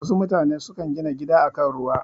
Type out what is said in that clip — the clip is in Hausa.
Wasu mutane sukan gina gida a kan ruwa.